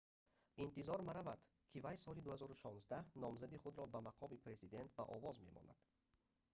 интизор меравад ки вай соли 2016 номзадии худро ба мақоми президент ба овоз мемонад